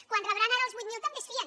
quan rebran ara els vuit mil també se’n fien